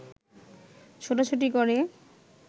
ছোটাছুটি করে